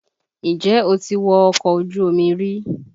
Ǹjẹ́ o ti wọ ọkọ ojú omi rí?